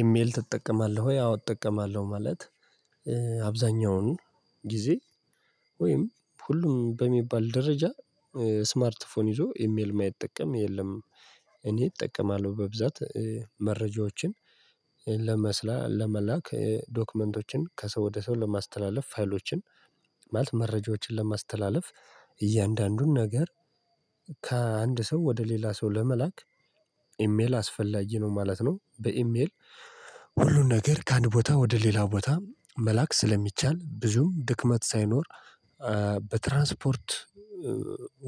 ኢሜል ትጠቀማለህ ወይ? አዎ እጠቀማለሁ ማለት አብዛኛውን ጊዜ ወይም ሁሉም በሚባል ደረጃ ስማርቲፎን ይዞ ኢሜል የማይጠቀም የለም። እኔ እጠቀማለሁ በብዛት መረጃዎችን ለመስላ ለመላክ ዶክመንቶችን ከሰው ወደ ሰው ለማስተላለፍ ፋይሎችን ማለት መረጃዎችን ለማስተላለፍ እያንዳንዱን ነገር ከአንድ ሰው ወደ ሌላ ሰው ለመላክ ኢሜል አስፈላጊ ነው ማለት ነው። በኢሜል ሁሉን ነገር ከአንድ ቦታ ወደ ሌላ ቦታ መላክ ስለሚቻል ብዙም ድክመት ሳይኖር በትራንስፖርት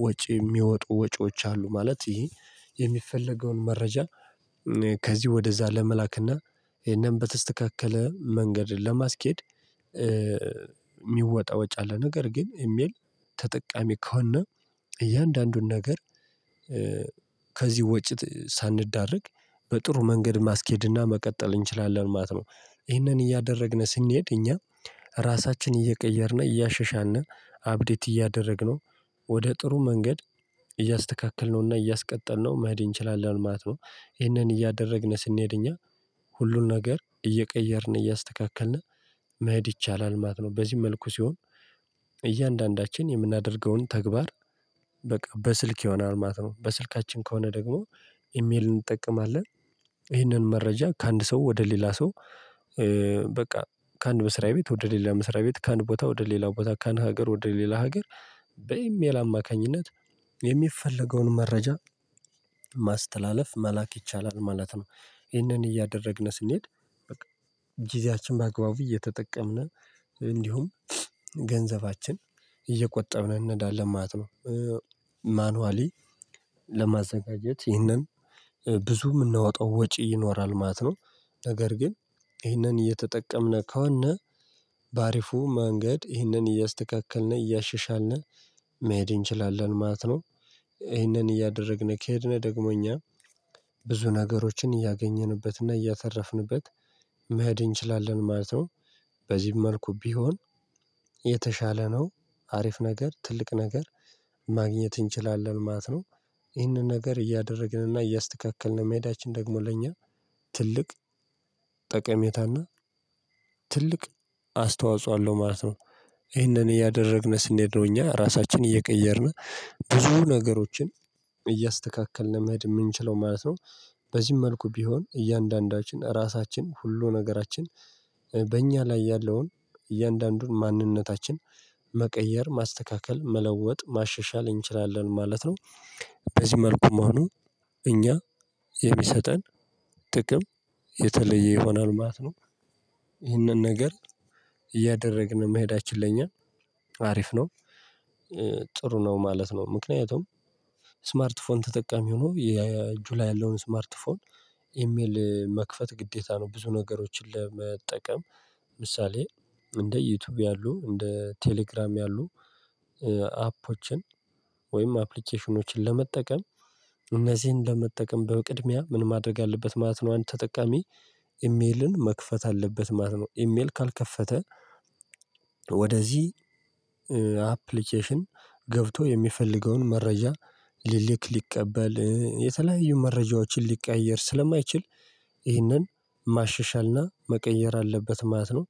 ወጪ የሚወጡ ወጪዎች አሉ ማለት ይሄ የሚፈለገውን መረጃ ከዚህ ወደዛ ለመላክና ይሄንን በተስተካከለ መንገድ ለማስኬድ የሚወጣ ወጪ አለ። ነገር ግን ኢሚል ተጠቃሚ ከሆነ እያንዳንዱን ነገር ከዚህ ወጪ ሳንዳረግ በጥሩ መንገድ ማስኬድና መቀጠል እንችላለን ማለት ነው። ይሄንን እያደረግን ስንሄድ እኛ ራሳችንን እየቀየርነ እያሸሻልነ አፕዴት እያደረግነው ወደ ጥሩ መንገድ እያስተካከልነውና እያስቀጠልነው መሄድ እንችላለን ማለት ነው። ይህንን እያደረግን ስንሄድ እኛ ሁሉን ነገር እየቀየርን እያስተካከልን መሄድ ይቻላል ማለት ነው። በዚህ መልኩ ሲሆን እያንዳንዳችን የምናደርገውን ተግባር በቃ በስልክ ይሆናል ማለት ነው። በስልካችን ከሆነ ደግሞ ኢሜል እንጠቀማለን ይህንን መረጃ ከአንድ ሰው ወደ ሌላ ሰው በቃ ከአንድ መስሪያ ቤት ወደ ሌላ መስሪያ ቤት ከአንድ ቦታ ወደ ሌላ ቦታ ከአንድ ሀገር ወደ ሌላ ሀገር በኢሜል አማካኝነት የሚፈለገውን መረጃ ማስተላለፍ መላክ ይቻላል ማለት ነው። ይህንን እያደረግን ስንሄድ ጊዜያችን በአግባቡ እየተጠቀምን እንዲሁም ገንዘባችን እየቆጠብን እንሄዳለን ማለት ነው። ማኑዋሊ ለማዘጋጀት ይህንን ብዙ የምናወጣው ወጪ ይኖራል ማለት ነው። ነገር ግን ይህንን እየተጠቀምነ ከሆን በአሪፉ መንገድ ይህንን እያስተካከልን እያሻሻልን መሄድ እንችላለን ማለት ነው። ይህንን እያደረግን ከሄድን ደግሞ እኛ ብዙ ነገሮችን እያገኘንበትና እያተረፍንበት መሄድ እንችላለን ማለት ነው። በዚህም መልኩ ቢሆን የተሻለ ነው አሪፍ ነገር ትልቅ ነገር ማግኘት እንችላለን ማለት ነው። ይህንን ነገር እያደረግን እና እያስተካከልን መሄዳችን ደግሞ ለእኛ ትልቅ ጠቀሜታና ትልቅ አስተዋጽኦ አለው ማለት ነው። ይህንን እያደረግን ስንሄድ ነው እኛ ራሳችንን እየቀየርን ብዙ ነገሮችን እያስተካከልን መሄድ የምንችለው ማለት ነው። በዚህም መልኩ ቢሆን እያንዳንዳችን ራሳችን ሁሉ ነገራችን በእኛ ላይ ያለውን እያንዳንዱን ማንነታችን መቀየር ማስተካከል መለወጥ ማሻሻል እንችላለን ማለት ነው። በዚህ መልኩ መሆኑ እኛ የሚሰጠን ጥቅም የተለየ ይሆናል ማለት ነው። ይህንን ነገር እያደረግን መሄዳችን ለኛ አሪፍ ነው ጥሩ ነው ማለት ነው። ምክንያቱም ስማርት ፎን ተጠቃሚ ሆኖ የእጁ ላይ ያለውን ስማርት ፎን ኢሜል መክፈት ግዴታ ነው ብዙ ነገሮችን ለመጠቀም ምሳሌ እንደ ዩቲዩብ ያሉ እንደ ቴሌግራም ያሉ አፖችን ወይም አፕሊኬሽኖችን ለመጠቀም እነዚህን ለመጠቀም በቅድሚያ ምን ማድረግ አለበት ማለት ነው። አንድ ተጠቃሚ ኢሜልን መክፈት አለበት ማለት ነው። ኢሜል ካልከፈተ ወደዚህ አፕሊኬሽን ገብቶ የሚፈልገውን መረጃ ሊልክ ሊቀበል የተለያዩ መረጃዎችን ሊቀያየር ስለማይችል ይህንን ማሸሻልና መቀየር አለበት ማለት ነው።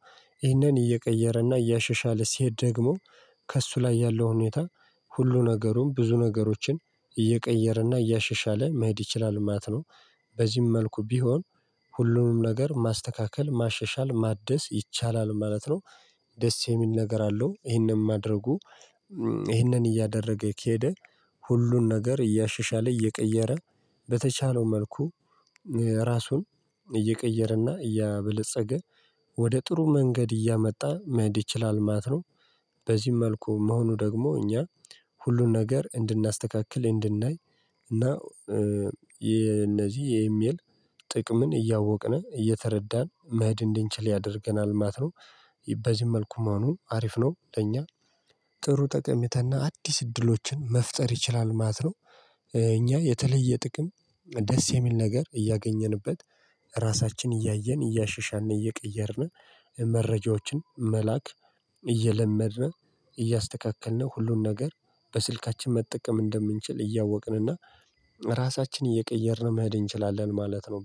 ይህንን እየቀየረና እያሸሻለ ሲሄድ ደግሞ ከእሱ ላይ ያለው ሁኔታ ሁሉ ነገሩን ብዙ ነገሮችን እየቀየረና እያሸሻለ መሄድ ይችላል ማለት ነው። በዚህም መልኩ ቢሆን ሁሉንም ነገር ማስተካከል ማሸሻል ማደስ ይቻላል ማለት ነው። ደስ የሚል ነገር አለው ይህንን ማድረጉ ይህንን እያደረገ ከሄደ ሁሉን ነገር እያሸሻለ እየቀየረ በተቻለው መልኩ ራሱን እየቀየረና እያበለፀገ ወደ ጥሩ መንገድ እያመጣ መሄድ ይችላል ማት ነው። በዚህም መልኩ መሆኑ ደግሞ እኛ ሁሉን ነገር እንድናስተካክል እንድናይ እና የእነዚህ የኢሜል ጥቅምን እያወቅን እየተረዳን መህድ እንድንችል ያደርገናል ማለት ነው። በዚህም መልኩ መሆኑ አሪፍ ነው ለእኛ ጥሩ ጠቀሜታና አዲስ እድሎችን መፍጠር ይችላል ማለት ነው። እኛ የተለየ ጥቅም ደስ የሚል ነገር እያገኘንበት ራሳችን እያየን እያሻሻልን እየቀየርን መረጃዎችን መላክ እየለመድን እያስተካከልን ሁሉን ነገር በስልካችን መጠቀም እንደምንችል እያወቅን እና ራሳችንን እየቀየርን መሄድ እንችላለን ማለት ነው